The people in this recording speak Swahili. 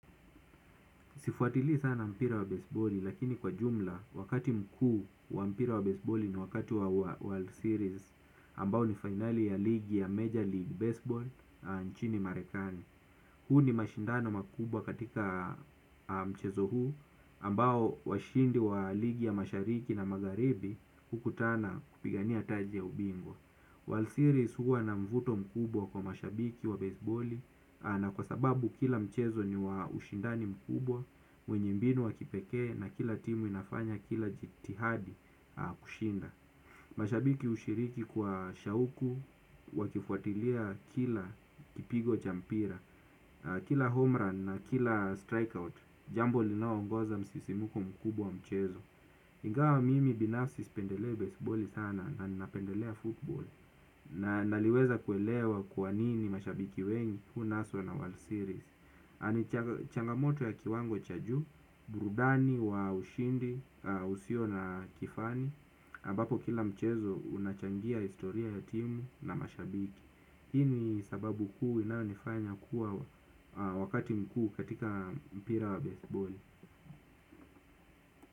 Sifuatili sana mpira wa baseballi lakini kwa jumla wakati mkuu wa mpira wa baseballi ni wakati wa World Series ambao ni fainali ya ligi ya major league baseball nchini marekani. Huu ni mashindano makubwa katika mchezo huu ambao washindi wa ligi ya mashariki na magharibi hukutana kupigania taji ya ubingwa. World series huwa na mvuto mkubwa kwa mashabiki wa baseballi na kwa sababu kila mchezo ni wa ushindani mkubwa, mwenye mbinu wa kipekee na kila timu inafanya kila jitihadi kushinda. Mashabiki hushiriki kwa shauku, wakifuatilia kila kipigo cha mpira, kila homerun na kila strikeout, jambo linaongeza msisimuko mkubwa wa mchezo. Ingawa mimi binafsi sipendelei baseballi sana na napendelea football. Na naliweza kuelewa kwa nini mashabiki wengi hunaswa na World Series na ni changamoto ya kiwango cha juu, burudani wa ushindi, usio na kifani ambapo kila mchezo unachangia historia ya timu na mashabiki hii ni sababu kuu inayonifanya kuwa wakati mkuu katika mpira wa basebali.